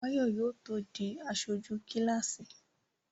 Báyọ̀ yóò tó di aṣojú kíláàsì